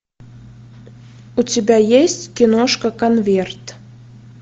у тебя есть киношка конверт